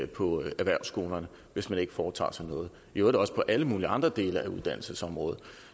på erhvervsskolerne hvis man ikke foretager sig noget i øvrigt også på alle mulige andre dele af uddannelsesområdet